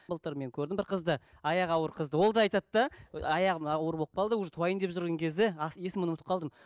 былтыр мен көрдім бір қызды аяғы ауыр қызды ол да айтады да аяғым ауыр болып қалды уже туайын деп жүрген кезде есімін ұмытып қалдым